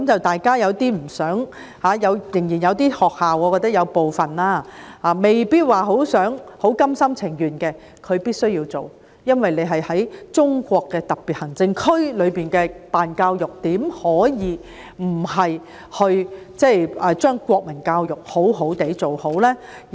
大家有點不想這樣，我覺得仍然有部分學校未必很甘心情願地依從，但它們必須這樣做，因為在中國的特別行政區裏辦教育，怎可以不把國民教育好好地辦好？